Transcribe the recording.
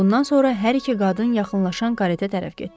Bundan sonra hər iki qadın yaxınlaşan qareta tərəf getdi.